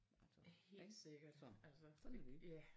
Helt sikkert altså ja